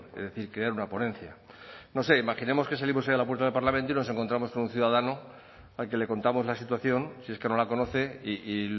es decir crear una ponencia no sé imaginemos que salimos hoy a la puerta del parlamento y nos encontramos con un ciudadano al que le contamos la situación si es que no la conoce y